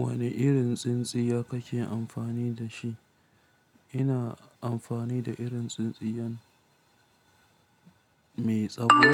Wane irin tsintsiya kake amfani dashi? Ina amfani da irin tsintsiyan mai tsawo.